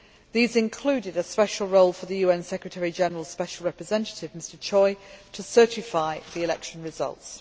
These included a special role for the UN Secretary General's Special Representative, Mr Choi, in certifying the election results.